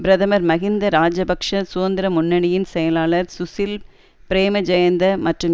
பிரதமர் மஹிந்த இராஜபக்ச சுதந்திர முன்னணியின் செயலாளர் சுசில் பிரேமஜயந்த மற்றும்